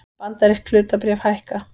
Bandarísk hlutabréf hækka